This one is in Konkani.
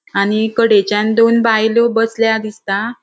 आणि कड़ेच्यान दोन बायलो बसल्या दिसता.